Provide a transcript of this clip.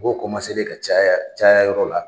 Mɔgɔw kɔmanselen ka caya caya yɔrɔ la.